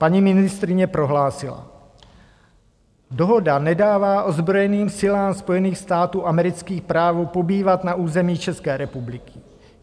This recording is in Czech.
Paní ministryně prohlásila: Dohoda nedává ozbrojeným silám Spojených států amerických právo pobývat na území České republiky.